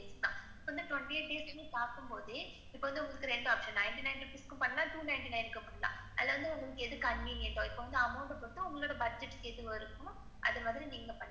இப்ப வந்து twenty-eight days ன்னு பாக்கும் போதே, இப்ப வந்து உங்களுக்கு ரெண்டு option ninety nine பண்லாம் two ninety-nine னுக்கும் பண்லாம். அதுல உங்களுக்கு எது convinient, உங்களுக்கு amount எது budget வருமோ, அத வந்து நீங்க பண்ணிக்கலாம்.